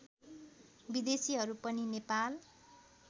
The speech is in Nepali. विदेशीहरू पनि नेपाल